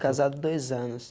Casado dois anos.